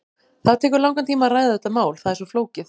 Það tekur langan tíma að ræða þetta mál, það er svo flókið.